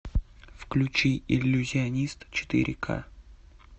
включи иллюзионист четыре ка